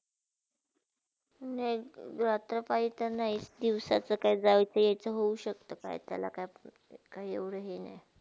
नाही, रात्र पाळीते नय तर दिवसचा काही जाविचा एवईचा हो शक्ता का? त्याला काय म्हणतात काय एवडे हे नाय.